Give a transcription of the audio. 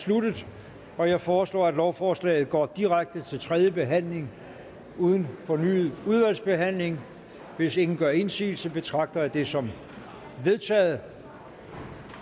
sluttet jeg foreslår at lovforslaget går direkte til tredje behandling uden fornyet udvalgsbehandling hvis ingen gør indsigelse betragter jeg det som vedtaget